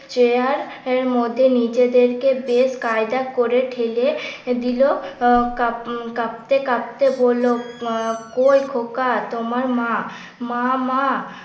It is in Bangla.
চেয়ার এর মধ্যে নিজেদেরকে বেশ কায়দা করে ঠেলে দিল আহ কাপ কাঁপতে কাঁপতে বলল কই খোকা তোমার মা? মা মা